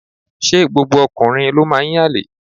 Ṣé gbogbo ọkùnrin ló máa ń yànlè.?